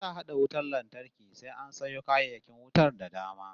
In za'a hada wutar lantarki sai an sayo kayayyakin wutar da dama